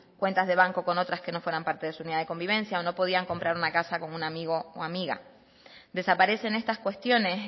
cuentas de banco con otras que no fueran parte de su unidad de convivencia o no podían comprar una casa con un amigo o amiga desaparecen estas cuestiones